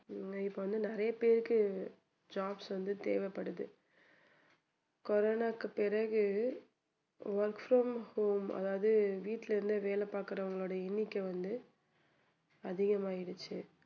ஹம் இப்போ வந்து நிறைய பேருக்கு jobs வந்து தேவைப்படுது கொரோனாவுக்கு பிறகு work from home அதாவது வீட்ல இருந்து வேலை பார்க்கிறவங்களோட எண்ணிக்கை வந்து அதிகமாயிடுச்சு